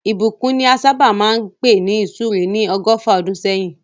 Ìbùkún ni a sábà máa ń pè ní ìsúre ní ọgọ́fà ọdún sẹ́yìn